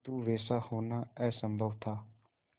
किंतु वैसा होना असंभव था